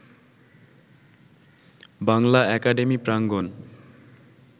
Bangla academy প্রাঙ্গণ